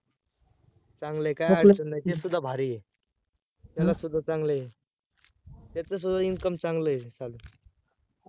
चांगलए काय अडचण नाय ते सुध्हा भारी आहे, त्याला सुद्धा चांगलय, त्याच सुद्धा income चांगलय, चल